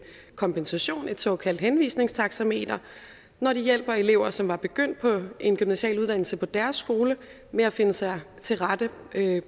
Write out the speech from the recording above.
kompensation et såkaldt henvisningstaxameter når de hjælper elever som er begyndt på en gymnasial uddannelse på deres skole med at finde sig til rette